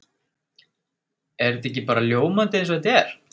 Er þetta ekki bara ljómandi eins og þetta er?